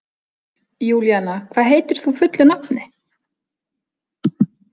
Júlíanna, hvað heitir þú fullu nafni?